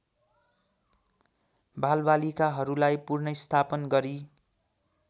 बालबालिकाहरूलाई पुनर्स्थापन गरी